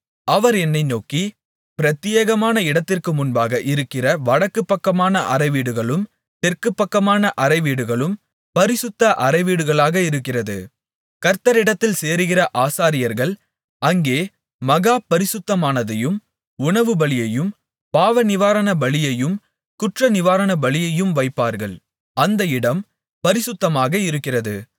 அவர் என்னை நோக்கி பிரத்தியேகமான இடத்திற்கு முன்பாக இருக்கிற வடக்குப் பக்கமான அறைவீடுகளும் தெற்குப் பக்கமான அறைவீடுகளும் பரிசுத்த அறைவீடுகளாக இருக்கிறது கர்த்தரிடத்தில் சேருகிற ஆசாரியர்கள் அங்கே மகா பரிசுத்தமானதையும் உணவுபலியையும் பாவநிவாரண பலியையும் குற்றநிவாரண பலியையும் வைப்பார்கள் அந்த இடம் பரிசுத்தமாக இருக்கிறது